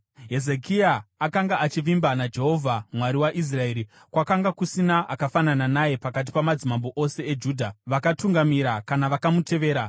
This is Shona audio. Hezekia akanga achivimba naJehovha, Mwari waIsraeri. Kwakanga kusina akafanana naye pakati pamadzimambo ose eJudha, vakamutangira kana vakamutevera.